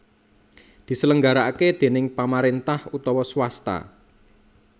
diselenggarakaké déning pamaréntah utawa swasta